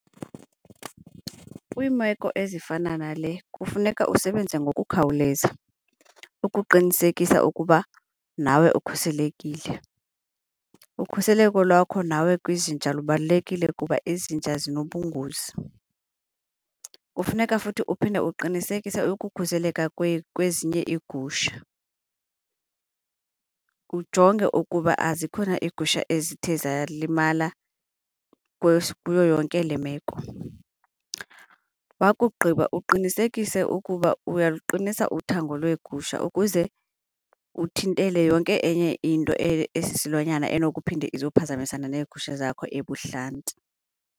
Kwiimeko ezifana nale kufuneka usebenze ngokukhawuleza ukuqinisekisa ukuba nawe ukhuselekile. Ukhuseleko lwakho nawe kwizinja lubalulekile kuba izinja zinobungozi, kufuneka futhi uphinde uqinisekise ukukhuseleka kwezinye iigusha, ujonge ukuba azikho na iigusha ezithe zalimala kuyo yonke le meko. Wakugqiba uqinisekise ukuba uyaluqinisa uthango lweegusha ukuze uthintele yonke enye into esisilwanyana enokuphinde izophazamisana neegusha zakho ebuhlanti.